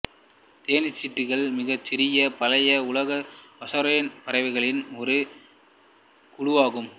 தேன்சிட்டுக்கள் மிகச் சிறிய பழைய உலகப் பசாரென் பறவைகளின் ஒரு குழுவாகும்